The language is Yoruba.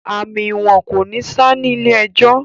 Àmì ìwọ̀n kò ní ṣá ní ilé ẹjọ̀